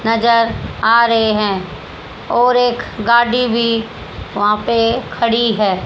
नजर आ रहे हैं और एक गाड़ी भी वहां पर खड़ी है।